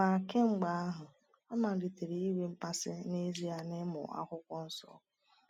Ma kemgbe ahụ, ọ malitere inwe mmasị n’ezie n’ịmụ Akwụkwọ Nsọ.